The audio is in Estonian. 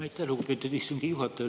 Aitäh, lugupeetud istungi juhataja!